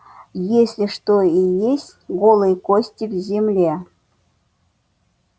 если что и есть голые кости в земле